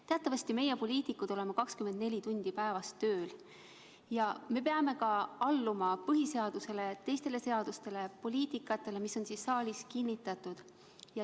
Teatavasti oleme meie, poliitikud, 24 tundi päevas tööl ja me peame alluma põhiseadusele ja teistele seadustele ning poliitikatele, mis on siin saalis kinnitatud.